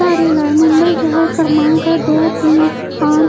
मुंबई शहर क्रमांक है दो तीन पांच--